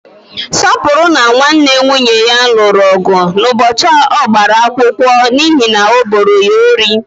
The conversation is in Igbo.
Sọpụrụ na nwanne nwunye ya lụrụ ọgụ ụbọchị ọgbara akwụkwọ n'ihi na o boro ya ohi.